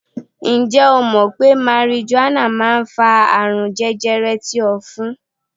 Ǹjẹ́ o mọ̀ pé marijuana máa ń fa àrùn jẹjẹrẹ ti ofun?